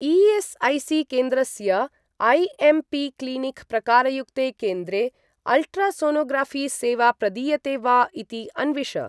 ई.एस्.ऐ.सी.केन्द्रस्य IMP clinic प्रकारयुक्ते केन्द्रे ultrasonography सेवा प्रदीयते वा इति अन्विष।